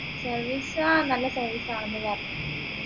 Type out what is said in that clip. service ആഹ് നല്ല service ആണ് ന്നു പറഞ്ഞിരുന്നു